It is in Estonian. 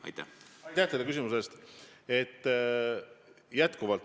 Aitäh teile küsimuse eest!